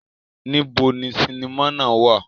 Nibo ni sinima náa wa?